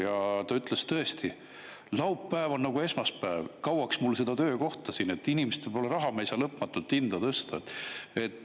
Ja ta ütles, tõesti, laupäev on nagu esmaspäev, kauaks mul seda töökohta siin, inimestel pole raha, me ei saa lõpmatult hinda tõsta.